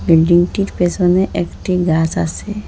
বিল্ডিংটির পেসোনে একটা গাস আসে ।